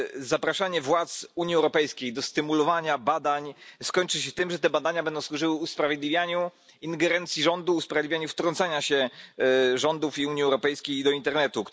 Zapraszanie władz Unii Europejskiej do stymulowania badań skończy się tym, że te badania będą służyły usprawiedliwianiu ingerencji rządu, usprawiedliwianiu wtrącania się rządów i Unii Europejskiej do internetu.